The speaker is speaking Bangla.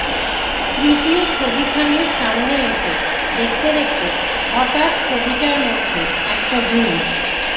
তৃতীয় ছবিখানির সামনে এসে দেখতে দেখতে হঠাৎ ছবিটার মধ্যে একটা জিনিস